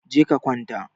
Je ka kwanta!